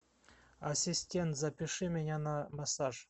ассистент запиши меня на массаж